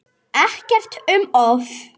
Ekkert um of.